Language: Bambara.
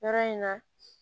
Yɔrɔ in na